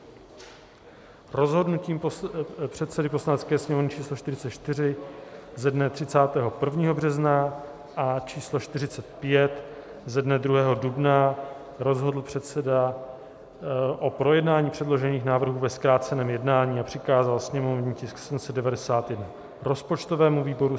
Rozhodnutím předsedy Poslanecké sněmovny č. 44 ze dne 31. března a č. 45 ze dne 2. dubna rozhodl předseda o projednání předložených návrhů ve zkráceném jednání a přikázal sněmovní tisk 791 rozpočtovému výboru;